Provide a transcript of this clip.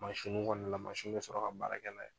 kɔni la, be sɔrɔ ka baara kɛ n'a ye .